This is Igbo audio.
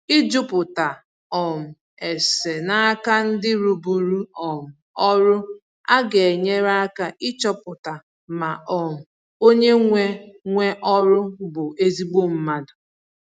Ịjụta um ese n'aka ndi rụburu um ọrụ aga enyere aka ịchọpụta ma um onye nwe nwe ọrụ bụ ezigbo mmadụ